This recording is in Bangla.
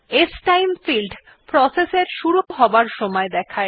স্টাইম ফিল্ড প্রসেস এর শুরু হবার সময় দেখায়